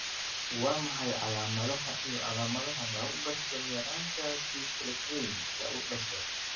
Waa maxay calaamadaha iyo calaamadaha lagu garto yaraanta Prekallikrein, lagu dhasho?